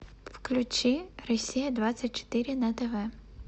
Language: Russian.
включи россия двадцать четыре на тв